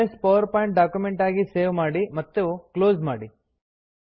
MS PowerPoint document ಆಗಿ save ಮಾಡಿ ಮತ್ತೆ ಕ್ಲೋಸ್ ಮಾಡಿ